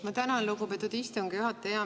Ma tänan, lugupeetud istungi juhataja!